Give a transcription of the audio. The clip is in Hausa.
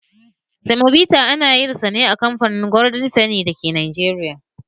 Samobita ana yin sane a kamfanin golden fenny a Najeriya.